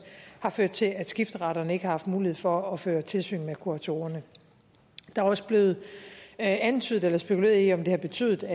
har ført til at skifteretterne ikke har haft mulighed for at føre tilsyn med kuratorerne der er også blevet antydet eller spekuleret i om det har betydet